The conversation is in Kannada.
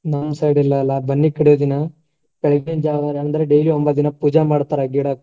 ನಮ್ಮ್ side ಇಲ್ಲೆಲ್ಲಾ ಬನ್ನಿ ಕಡಿಯುವ ದಿನ ಬೆಳಗಿನ ಜಾವ ಅಂದ್ರ್ daily